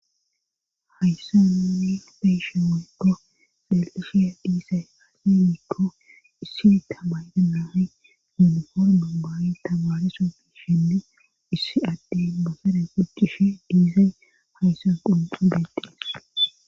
Hayssanin beyshin weykko lalqifhiya dhiisay hafimikko issi tamaydana himuhor dubawi tabaarisu biishindi issi adde bosere guccishi diizay hayssan qunxu detiis.